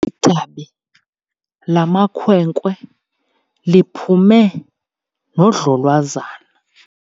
Idabi lamakhwenkwe liphume nodlolwazana.